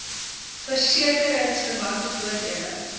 verseke ringsverwante voordele